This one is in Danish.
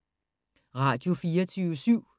Radio24syv